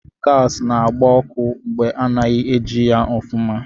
Gaasị na-agbá ọkụ mgbe ana-ejighị ya ofuma.